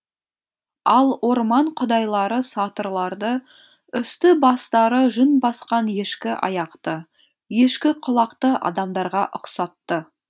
ал орман құдайлары сатырларды үсті бастары жүн басқан ешкі аяқты ешкі құлақты адамдарға ұқсатты